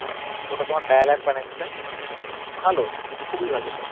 কোনো কোনো dial up connection ভালো খুবই ভালো ওটা